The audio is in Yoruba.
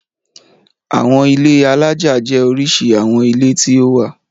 Àwọn ilé alájà jẹ́ oríṣi àwọn ilé tí ó wà.